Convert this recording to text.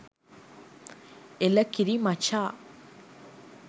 එළ කිරි මචා!